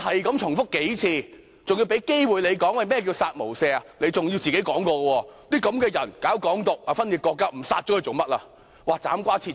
他重複了數次，他更有機會解釋何謂"殺無赦"，他說這些人主張"港獨"、分裂國家，不殺不行。